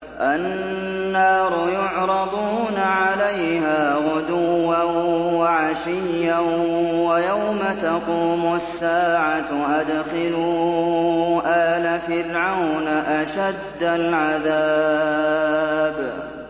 النَّارُ يُعْرَضُونَ عَلَيْهَا غُدُوًّا وَعَشِيًّا ۖ وَيَوْمَ تَقُومُ السَّاعَةُ أَدْخِلُوا آلَ فِرْعَوْنَ أَشَدَّ الْعَذَابِ